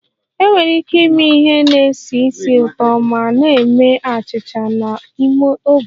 Enwere ike ịme ihe na-esi ísì ụtọ ma na-eme achịcha n'ime oven